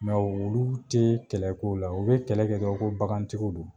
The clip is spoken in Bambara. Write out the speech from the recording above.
olu tee kɛlɛ k'o la, u be kɛlɛ kɛ dɔrɔn ko bagantigiw don.